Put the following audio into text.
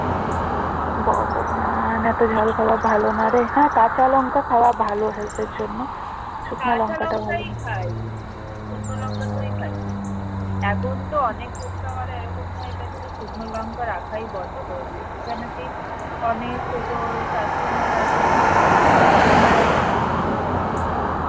এখন তো অনেক ফুচকাওয়ালা এরকম হয়ে গেছে যে লঙ্কা রাখাই বন্ধ করে দিয়েছে কেন কি অনেকে তো customer আছে যে খাই না শুকনো লঙ্কা